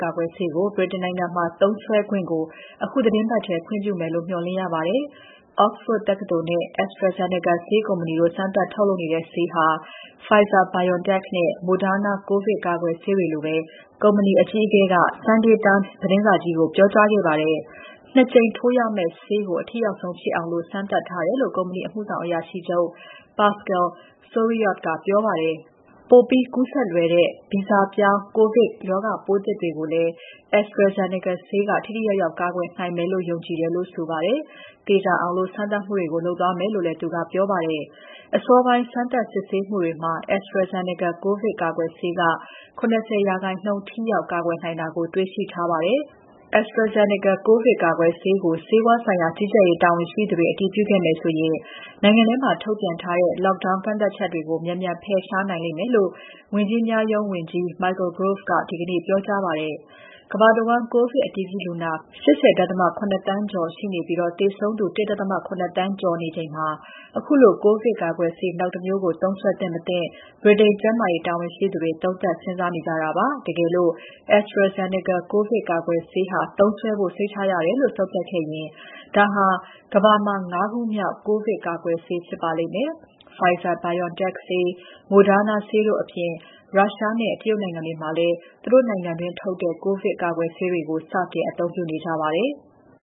ကာကွယ်ဆေးကို ဗြိတိန်နိုင်ငံမှာ သုံးစွဲခွင့်ကို အခုသီတင်းပတ်ထဲ ခွင့်ပြုမယ်လို့ မေ ျှာ်လင့်ရပါတယ်။ Oxford တက္ကသိုလ်နဲ့ AstraZeneca ဆေးကုမ္ပဏီတို့ စမ်းသပ်ထုတ်တဲ့ဆေးဟာ Pfizer-BioNTech နဲ့ Moderna ကိုဗစ်ကာကွယ်ဆေးတွေလိုပဲ ထိရောက်တယ်လို့ ကုမ္ပဏီအကြီးအကဲက nday Times သတင်းစာကြီးကို ပြောကြားခဲ့ပါတယ်။ ၂ ကြိမ်ထိုးရမယ့်ဆေးကို အထိရောက်ဆုံးဖြစ်အောင် စမ်းသပ်ထားတယ်လို့ ကုမ္ပဏီ အမှုဆောင်အရာရှိချုပ် Pascal Soriot ကပြောပါတယ်။ ပိုပြီးကူးစက်လွယ်တဲ့ ဗီဇပြောင်း ကိုဗစ်ရောဂါပိုးသစ်တွေကိုလည်း AstraZeneca ဆေးက ထိထိရောက်ရောက် ကာကွယ်နိုင်မယ်လို့ ယုံကြည်တယ်လို့လည်း ဆိုပါတယ်။ သေချာအောင် စမ်းသပ်မှုတွေလုပ်သွားမယ်လို့ ပြောပါတယ်။ အစောပိုင်းစမ်းသပ်စစ်ဆေးမှုတွေမှာ AstraZeneca ကိုဗစ်ကာကွယ်ဆေးက ၇၀% ထိရောက်ကာကွယ်နိုင်တယ်လို့ တွေ့ရှိထားပါတယ်။ AstraZeneca ဆေးကို ကိုဗစ်ကာကွယ်ဆေးကို ဆေးဝါးဆိုင်ရာ ကြီးကြပ်ရေးတာဝန်ရှိသူတွေ အတည်ပြုခဲ့မယ်ဆိုရင် နိုင်ငံထဲမှာ ထုတ်ပြန်ထားတဲ့ Lockdown ကန့်သတ်ချက်တွေကို မြန်မြန်ဖယ်ရှားနိုင်မယ်လို့ ဝန်ကြီးများရုံးဝန်ကြီး Michael Gove ကဒီနေ့ ပြောကြားပါတယ်။ ကမ္ဘာတဝန်း ကိုဗစ်အတည်ပြုလူနာ ၈၀.၇ သန်းကျော်ရှိနေပြီး သေဆုံးသူ ၁.၇ သန်းကျော်ရှိနေချိန်မှာ ခုလို ကိုဗစ်ကာကွယ်ဆေးနောက်တမျိုးကို သုံးစွဲသင့် မသင့် ဗြိတိန်ကျန်းမာရေးတာဝန်ရှိသူတွေ သုံးသပ်စဉ်းစားနေကြတာပါ။ တကယ်လို့ AstraZeneca ကိုဗစ်ကာကွယ်ဆေးဟာ သုံးစွဲဖို့ စိတ်ချရတယ်လို့ ဆုံးဖြတ်ရင် ဒါဟာ ကမ္ဘာမှာ ၅ ခုမြောက် ကိုဗစ်ကာကွယ်ဆေးဖြစ်ပါလိမ့်မယ်။ Pfizer-BioNTech ဆေး၊ Moderna ဆေးတို့အပြင် ရုရှားနဲ့ တရုတ်နိုင်ငံတွေမှာလည်း သူတို့နိုင်ငံတွင်း ထုတ်တဲ့ ကိုဗစ်ကာကွယ်ဆေးတွေကို စတင်အသုံးပြုနေကြပါတယ်။